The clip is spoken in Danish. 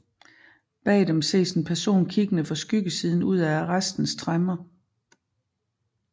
Bag dem ses en person kiggende fra skyggesiden ud af arrestens tremmer